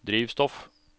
drivstoff